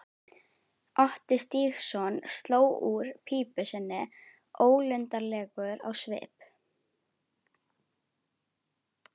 Otti Stígsson sló úr pípu sinni ólundarlegur á svip.